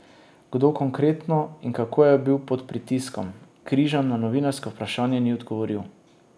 Kdo konkretno in kako je bil pod pritiskom, Križan na novinarsko vprašanje ni odgovoril.